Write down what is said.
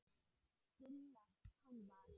Gulla. hún var.